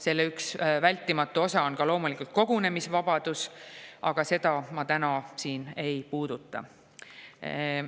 Selle üks vältimatu osa on loomulikult kogunemisvabadus, aga seda ma täna siin ei puuduta.